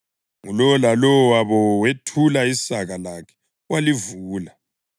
Ngulowo lalowo wabo wethula isaka lakhe walivula.